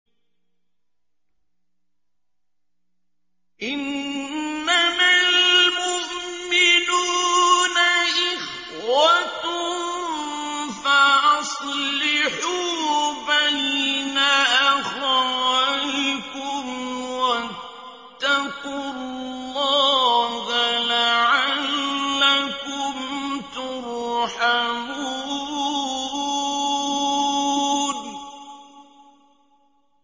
إِنَّمَا الْمُؤْمِنُونَ إِخْوَةٌ فَأَصْلِحُوا بَيْنَ أَخَوَيْكُمْ ۚ وَاتَّقُوا اللَّهَ لَعَلَّكُمْ تُرْحَمُونَ